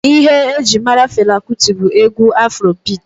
Ihe ejiri mara Fela Kuti bụ egwu afro biiti.